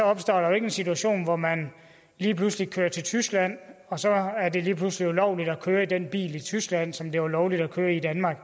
opstår en situation hvor man lige pludselig kører til tyskland og så er det lige pludselig ulovligt at køre i den bil i tyskland som det var lovligt at køre i i danmark